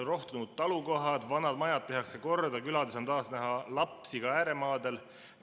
Rohtunud talukohad ja vanad majad tehakse korda, külades on taas näha lapsi, ka ääremaadel.